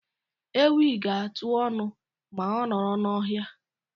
Ewi ga-atụ ọnụ ma ọ nọrọ n'ohia.